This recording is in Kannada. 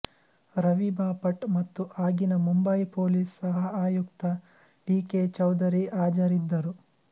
ರವಿಬಾಪಟ್ ಮತ್ತು ಆಗಿನ ಮುಂಬಯಿ ಪೋಲೀಸ್ ಸಹಆಯುಕ್ತ ಟಿ ಕೆ ಚೌಧರಿಹಾಜರಿದ್ದರು